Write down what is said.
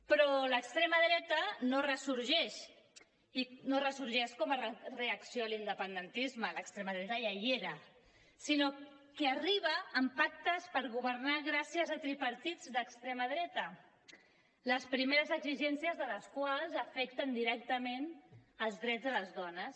però l’extrema dreta no ressorgeix dic no ressorgeix com a reacció a l’independentisme l’extrema dreta ja hi era sinó que arriba amb pactes per governar gràcies a tripartits d’extrema dreta les primeres exigències de les quals afecten directament els drets de les dones